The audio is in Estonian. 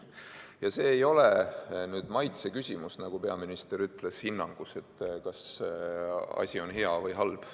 Ja see ei ole maitse küsimus, nagu peaminister ütles, hinnang, kas asi on hea või halb.